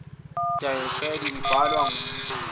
edithoriyali ibhalwa ngumhleli